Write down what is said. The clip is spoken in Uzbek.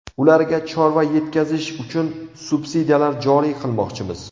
Ularga chorva yetkazish uchun subsidiyalar joriy qilmoqchimiz.